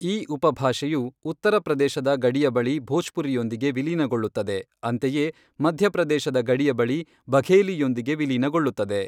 ಈ ಉಪಭಾಷೆಯು ಉತ್ತರ ಪ್ರದೇಶದ ಗಡಿಯ ಬಳಿ ಭೋಜ್ಪುರಿಯೊಂದಿಗೆ ವಿಲೀನಗೊಳ್ಳುತ್ತದೆ, ಅಂತೆಯೇ ಮಧ್ಯಪ್ರದೇಶದ ಗಡಿಯ ಬಳಿ ಬಘೇಲಿಯೊಂದಿಗೆ ವಿಲೀನಗೊಳ್ಳುತ್ತದೆ.